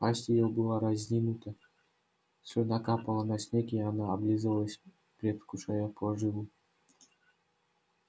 пасть её была разинута слюна капала на снег и она облизывалась предвкушая поживу